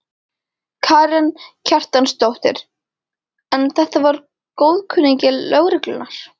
Karen Kjartansdóttir: En þetta var góðkunningi lögreglunnar?